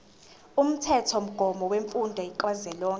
umthethomgomo wemfundo kazwelonke